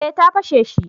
Eh ta fashe shi